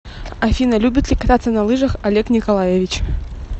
афина любит ли кататься на лыжах олег николаевич